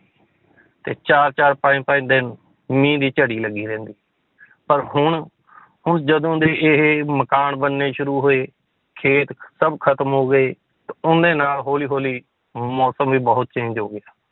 ਤੇ ਚਾਰ ਚਾਰ ਪੰਜ ਪੰਜ ਦਿਨ ਮੀਂਹ ਦੀ ਝੜੀ ਲੱਗੀ ਰਹਿੰਦੀ ਪਰ ਹੁਣ ਹੁਣ ਜਦੋਂ ਦੇ ਇਹ ਮਕਾਨ ਬਣਨੇ ਸ਼ੁਰੂ ਹੋਏ ਖੇਤ ਸਭ ਖਤਮ ਹੋ ਗਏ ਉਹਦੇ ਨਾਲ ਹੌਲੀ ਹੌਲੀ ਮੌਸਮ ਵੀ ਬਹੁਤ change ਹੋ ਗਿਆ,